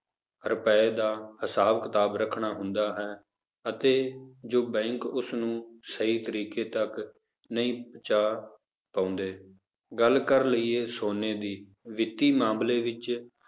ਰੁਪਏ ਦਾ ਹਿਸਾਬ ਕਿਤਾਬ ਰੱਖਣਾ ਹੁੰਦਾ ਹੈ, ਅਤੇ ਜੋ ਬੈਂਕ ਉਸਨੂੰ ਸਹੀ ਤਰੀਕੇ ਤੱਕ ਨਹੀਂ ਪਹੁੰਚਾ ਪਾਉਂਦੇ, ਗੱਲ ਕਰ ਲਈਏ ਸੋਨੇ ਦੀ ਵਿੱਤੀ ਮਾਮਲੇ ਵਿੱਚ